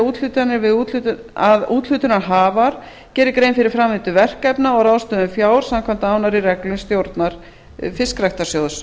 úthlutanir við að úthlutunarhafar geri grein fyrir framvindu verkefna og ráðstöfun fjár samkvæmt nánari reglum stjórnar fiskræktarsjóðs